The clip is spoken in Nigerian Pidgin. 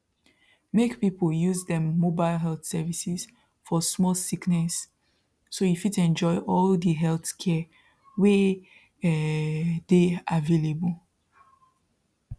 make people use dem mobile health services for small sickness so you fit enjoy all the healthcare wey um dey available